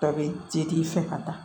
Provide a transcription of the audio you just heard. Bɛɛ bɛ se k'i fɛ ka taa